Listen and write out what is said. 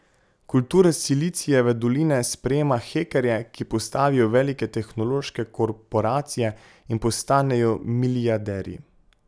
Kultura silicijeve doline sprejema hekerje, ki postavijo velike tehnološke korporacije in postanejo milijarderji.